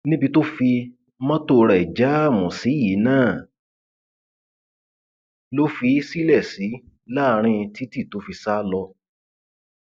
níbi tó fi mọtò rẹ jáàmù sí yìí náà ló fi í sílẹ sí láàrín títí tó fi sá lọ